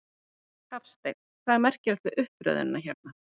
Hafsteinn: Hvað er merkilegt við uppröðunina hérna?